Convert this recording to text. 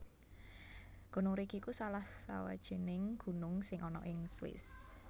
Gunung Rigi iku salah sawijining gunung sing ana ing Swiss